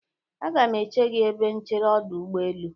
Aga m eche gi ebe nchere ọdụ ụgbọelu.